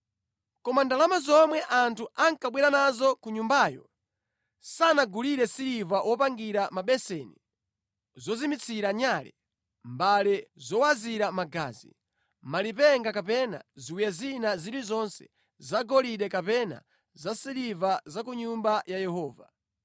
Koma ndalama zomwe anthu ankabwera nazo ku nyumbayo sanagulire siliva wopangira mabeseni, zozimitsira nyale, mbale zowazira magazi, malipenga kapena ziwiya zina zilizonse zagolide kapena zasiliva za ku Nyumba ya Yehova.